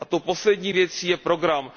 A tou poslední věcí je program.